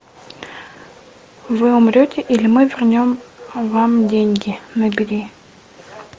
вы умрете или мы вернем вам деньги набери